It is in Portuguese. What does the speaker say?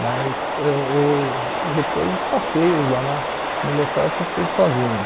Mas eu uh depois dos passeios lá na no local eu fiz tudo sozinho.